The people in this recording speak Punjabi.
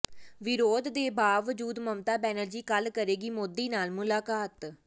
ਵਿਰੋਧ ਦੇ ਬਾਵਜੂਦ ਮਮਤਾ ਬੈਨਰਜੀ ਕੱਲ੍ਹ ਕਰੇਗੀ ਮੋਦੀ ਨਾਲ ਮੁਲਾਕਾਤ